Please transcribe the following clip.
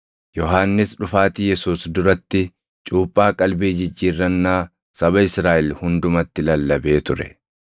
Yohannis dhufaatii Yesuus duratti cuuphaa qalbii jijjiirrannaa saba Israaʼel hundumatti lallabee ture.